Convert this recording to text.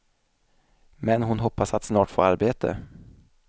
Men hon hoppas att snart få arbete.